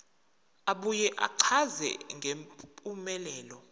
abuye achaze ngempumelelo